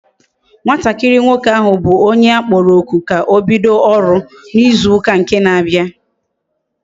Nwatakiri nwoke ahu bu onye akporo oku ka obido oru na izu nke na abia